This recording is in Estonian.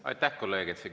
Aitäh, kolleeg!